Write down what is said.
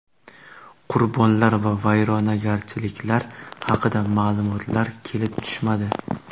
Qurbonlar va vayronagarchiliklar haqida ma’lumotlar kelib tushmadi.